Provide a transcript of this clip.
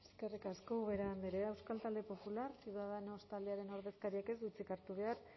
eskerrik asko ubera andrea euskal talde popular ciudadanos taldearen ordezkariak ez du hitzik hartu behar